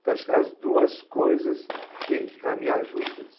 Então, acho que as duas coisas têm que caminhar juntas.